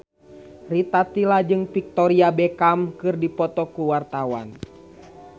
Rita Tila jeung Victoria Beckham keur dipoto ku wartawan